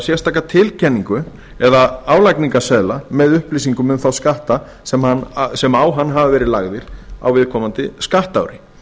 sérstaka tilkynningu eða álagningarseðla með upplýsingum um þá skatta sem á hann hafa verið lagðir á viðkomandi skattári